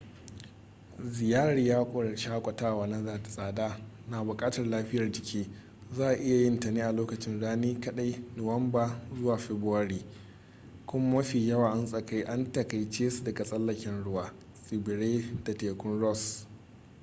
ziyarar yawon shakatawa na da tsada na bukatar lafiyar jiki za a iya yin ta ne a lokacin rani kaɗai nuwamba-fabrairu kuma mafi yawa an taƙaice su ga tsallaken ruwa tsibirai da tekun ross